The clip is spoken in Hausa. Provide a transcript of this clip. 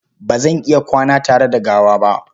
Ba zan iya kwana tare da gawa ba.